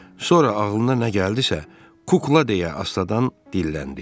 Sonra ağlına nə gəldisə, kukla deyə astadan dilləndi.